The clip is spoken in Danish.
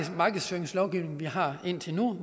markedsføringslovgivning vi har haft indtil nu